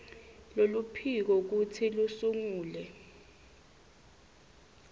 loluphiko kutsi lusungule